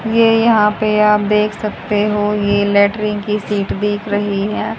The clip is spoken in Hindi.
ये यहां पे आप देख सकते हो ये लैट्रिन की सीट दिख रही है।